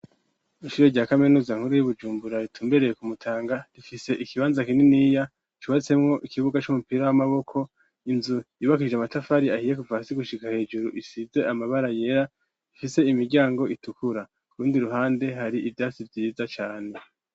Ishure rya kaminuza nkuru y'i Bujumbura ritumbereye ku Mutanga rifise ikibanza kininiya cubatsemwo ikibuga c'umupira w'amaboko, inzu yubakishijwe amatafari ahiye kuva hasi gushika hejuru isize amabara yera, ifise imiryango itukura. Ku rundi ruhande hari ivyatsi vyiza cane.